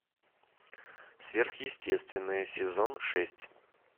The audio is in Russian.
сверхъестественное сезон шесть